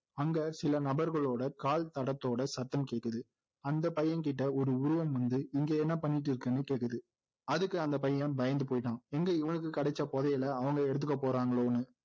அங்க சில நபர்களோட கால் தடத்தோட சத்தம் கேக்குது அந்த பையன்கிட்ட ஒரு உருவம் வந்து இங்க என்ன பண்ணிட்டு இருக்கன்னு கேக்குது அதுக்கு அந்த பையன் பயந்து போயிட்டான் எங்க இவனுக்கு கிடைச்ச புதையலை அவங்க எடுத்துக்க போறாங்களோன்னு